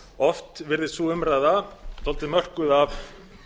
oft virðist sú umræða dálítið mörkuð af